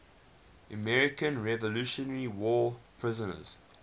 american revolutionary war prisoners